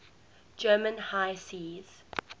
german high seas